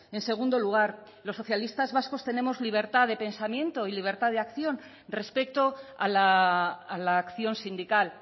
en segundo lugar los socialistas vascos tenemos libertad de pensamiento y libertad de acción respecto a la acción sindical